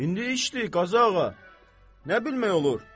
İndi işdir, Qazı ağa, nə bilmək olur?